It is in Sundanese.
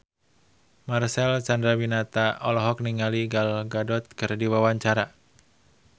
Marcel Chandrawinata olohok ningali Gal Gadot keur diwawancara